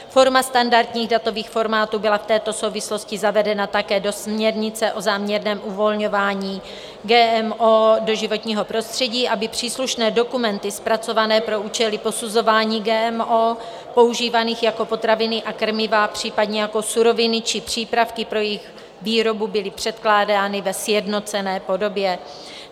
Forma standardních datových formátů byla v této souvislosti zavedena také do směrnice o záměrném uvolňování GMO do životního prostředí, aby příslušné dokumenty zpracované pro účely posuzování GMO používaných jako potraviny a krmiva, případně jako suroviny či přípravky pro jejich výrobu, byly předkládány ve sjednocené podobě.